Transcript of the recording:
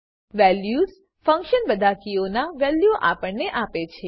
values function બધા કીઓના વેલ્યુઓ આપણને આપે છે